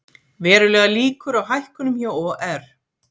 Verulegar líkur á hækkunum hjá OR